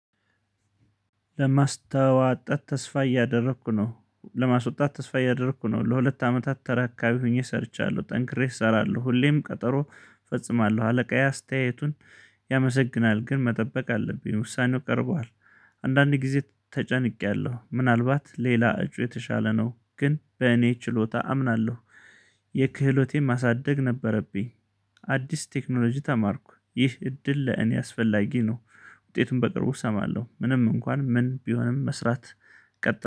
ለማስታወጣት ተስፋ እያደረኩ ነው ለማስወጣት ተስፋ እያደረኩ ነው። ለሁለት አመታት ተራካቢ ሆኜ ሰርቻለሁ ጠንክሬ እሰራለሁ ሁሌም ቀጠሮ እፈጽማለሁ። አለቃዬ አስተያየቱን ያመሰግናል ግን መጠበቅ አለብኝ። ውሳኔው ቀርቧል አንዳንዴ ጊዜ ተጨንቄያለሁ። ምናልባት ሌላ እጩ የተሻለ ነው። ግን በእኔ ችሎታ አምናለሁ። የክህሎቴን ማሳደግ ነበረብኝ። አዲስ ቴክኖሎጂ ተማርኩ። ይህ እድል ለእኔ አስፈላጊ ነው። ውጤቱን በቅርቡ እሰማለሁ። ምንም እንኳን ምን ቢሆንም መስራት ቀጥ